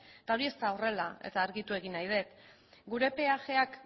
eta hori ez da horrela eta argitu nahi dut gure peajeak